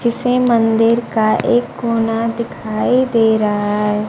जिसे मंदिर का एक कोना दिखाई दे रहा हैं।